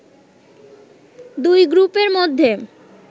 দুই গ্রুপের মধ্যে